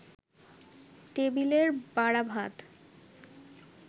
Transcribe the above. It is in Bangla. টেবিলের বাড়া ভাত